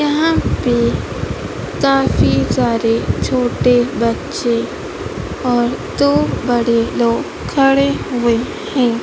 यहां पे काफी सारे छोटे बच्चे और दो बड़े लोग खड़े हुए हैं।